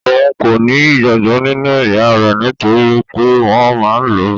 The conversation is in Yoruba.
Òun kò ní ìgbàgbọ nínú ìyá rẹ̀ nitoripe wọn máa n lu.